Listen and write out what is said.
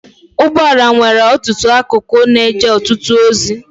Ụgbọala nwere ọtụtụ akụkụ na-eje ọtụtụ ozi.